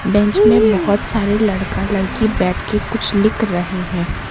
Bench में बहुत सारे लड़का लड़की बैठ के कुछ लिख रहे हैं।